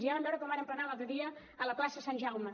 ja vam veure com van emplenar l’altre dia a la plaça sant jaume